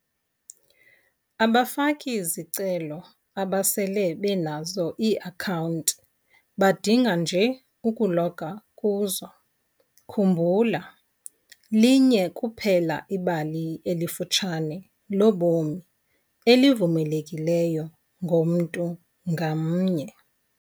Abafaki-zicelo abasele benazo ii-akhawunti badinga nje ukuloga kuzo - khumbula, linye kuphela ibali elifutshane lobomi elivumelekileyo ngomntu ngamnye.